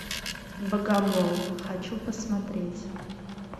богомол хочу посмотреть